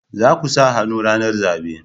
Za ku sa hannu ranar zabe